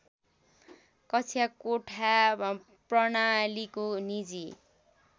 कक्षाकोठा प्रणालीको निजी